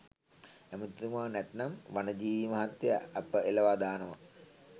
ඇමතිතුමා නැත්නම් වනජීවි මහත්තය අප එළවා දානවා.